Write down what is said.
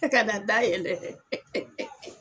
E ka na da yɛlɛ